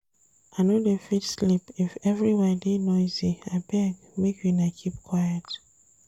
I no dey fit sleep if everywhere dey noisy, abeg make una keep quiet.